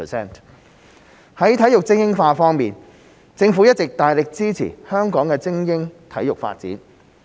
在體育精英化方面，政府一直大力支持香港的精英體育發展。